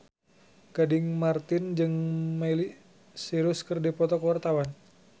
Gading Marten jeung Miley Cyrus keur dipoto ku wartawan